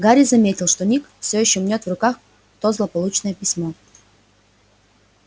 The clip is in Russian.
гарри заметил что ник всё ещё мнёт в руках то злополучное письмо